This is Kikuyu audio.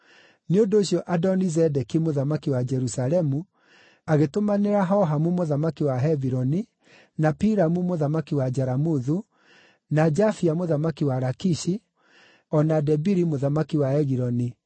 Nĩ ũndũ ũcio Adoni-Zedeki mũthamaki wa Jerusalemu agĩtũmanĩra Hohamu mũthamaki wa Hebironi, na Piramu mũthamaki wa Jaramuthu, na Jafia mũthamaki wa Lakishi, o na Debiri mũthamaki wa Egiloni,